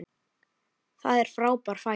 Það er frábær fæða.